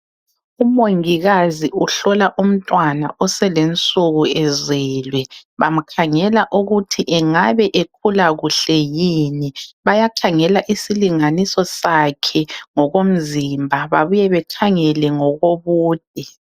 Umongikazi uhlola umntwana oselensuku ezelwe. Bamkhangela ukuthi engabe ekhula kuhle yini. Bayakhangela isilinganiso sakhe ngokomzimba babuye bakhangele ngokobude.